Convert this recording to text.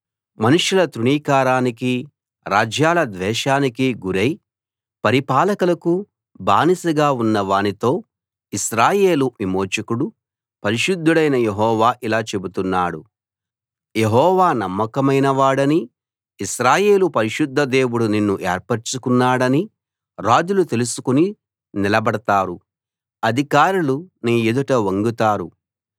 మనుషుల తృణీకారానికీ రాజ్యాల ద్వేషానికీ గురై పరిపాలకులకు బానిసగా ఉన్నవానితో ఇశ్రాయేలు విమోచకుడు పరిశుద్ధుడైన యెహోవా ఇలా చెబుతున్నాడు యెహోవా నమ్మకమైనవాడనీ ఇశ్రాయేలు పరిశుద్ధ దేవుడు నిన్ను ఏర్పరచుకున్నాడనీ రాజులు తెలుసుకుని నిలబడతారు అధికారులు నీ ఎదుట వంగుతారు